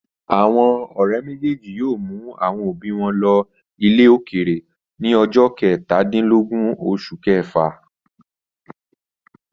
Àwọn ọ̀rẹ́ méjèèjì yóò mú àwọn òbí wọn lọ ilẹ̀ òkèèrè ní ọjọ́ kẹtàdínlógún oṣù kẹfà.